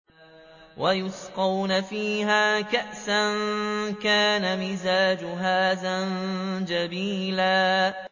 وَيُسْقَوْنَ فِيهَا كَأْسًا كَانَ مِزَاجُهَا زَنجَبِيلًا